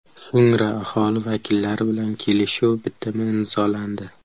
So‘ngra aholi vakillari bilan kelishuv bitimi imzolandi.